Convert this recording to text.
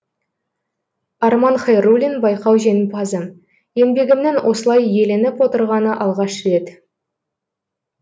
арман хайруллин байқау жеңімпазы еңбегімнің осылай еленіп отырғаны алғаш рет